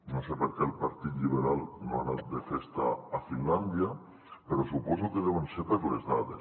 no sé per què el partit lliberal no ha anat de festa a finlàndia però suposo que deu ser per les dades